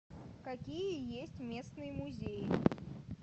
какие есть местные музеи